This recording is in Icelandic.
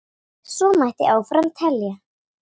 Svo mætti áfram telja.